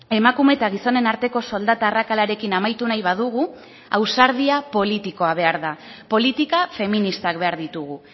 emakume eta gizonen arteko soldata arrakalarekin amaitu nahi badugu ausardia politikoa behar da politika feministak behar ditugu